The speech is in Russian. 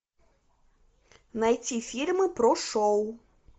найти фильмы про шоу